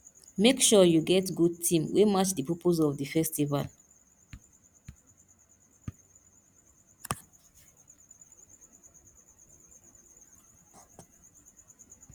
make sure you get good theme wey match di purpose of di festival